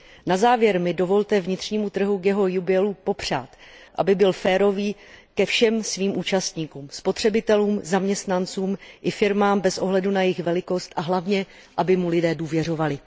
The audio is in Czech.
Na závěr mi dovolte vnitřnímu trhu k jeho jubileu popřát, aby byl férový ke všem svým účastníkům spotřebitelům, zaměstnancům i firmám bez ohledu na jejich velikost a hlavně, aby mu lidé důvěřovali.